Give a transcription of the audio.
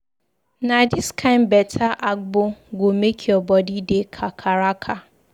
Na dis kain beta agbo go make your bodi dey kakaraka.